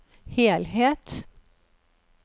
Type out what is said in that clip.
helhet